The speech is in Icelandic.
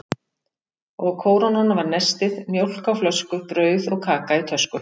Og kórónan var nestið: mjólk á flösku, brauð og kaka í tösku.